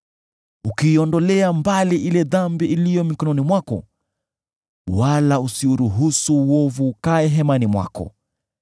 ukiiondolea mbali ile dhambi iliyo mkononi mwako wala usiuruhusu uovu ukae hemani mwako,